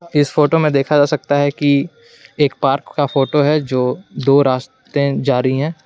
इस फोटो में देखा जा सकता है कि एक पार्क का फोटो है जो दो रास्ते जा रही हैं।